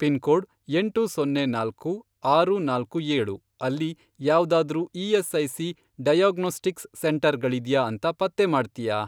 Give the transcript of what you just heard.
Pin code, ಎಂಟು ಸೊನ್ನೆ ನಾಲ್ಕು, ಆರು ನಾಲ್ಕು ಏಳು, ಅಲ್ಲಿ ಯಾವ್ದಾದ್ರೂ ಇ.ಎಸ್.ಐ.ಸಿ. ಡಯಾಗ್ನೋಸ್ಟಿಕ್ಸ್ ಸೆಂಟರ್ ಗಳಿದ್ಯಾ ಅಂತ ಪತ್ತೆ ಮಾಡ್ತ್ಯಾ?